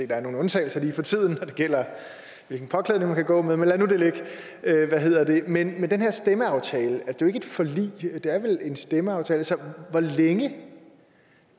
der er nogle undtagelser lige for tiden når det gælder hvilken påklædning man kan gå med men lad nu det ligge men den her stemmeaftale er jo ikke et forlig det er vel en stemmeaftale så hvor længe